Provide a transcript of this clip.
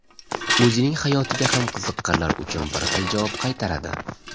O‘zining hayotiga ham qiziqqanlar uchun bir xil javob qaytaradi.